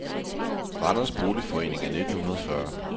Randers Boligforening af 1940